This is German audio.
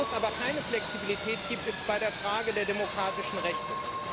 Wo es aber keine Flexibilität gibt, ist bei der Frage der demokratischen Rechte.